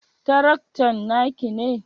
Taraktan naki ne?